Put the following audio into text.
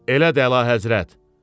Elədi əlahəzrət.